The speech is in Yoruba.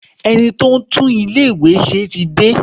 Ẹni tí ó ń tún ilé ìwé ṣe tí dé.